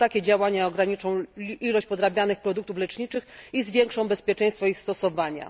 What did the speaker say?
Tylko takie działania ograniczą ilość podrabianych produktów leczniczych i zwiększą bezpieczeństwo ich stosowania.